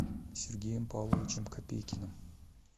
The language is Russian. сергеем павловичем копейкиным